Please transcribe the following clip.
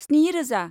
स्नि रोजा